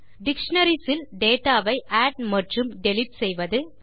dictionaries இல் data வை add மற்றும் டிலீட் செய்வது